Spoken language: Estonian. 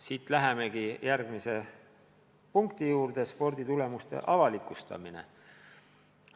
Siit lähemegi järgmise punkti juurde: sporditulemuste avalikustamine.